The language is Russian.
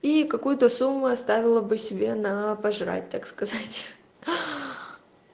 и какую-то сумму оставила бы себе на пожрать так сказать